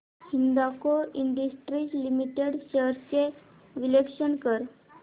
Hindalco industries limited shares चे विश्लेषण कर